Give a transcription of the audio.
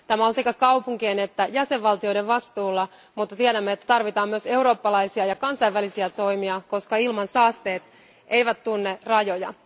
Tämä on sekä kaupunkien että jäsenvaltioiden vastuulla, mutta tiedämme, että tarvitaan myös eurooppalaisia ja kansainvälisiä toimia, koska ilmansaasteet eivät tunne rajoja.